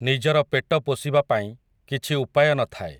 ନିଜର ପେଟ ପୋଷିବାପାଇଁ, କିଛି ଉପାୟ ନ ଥାଏ ।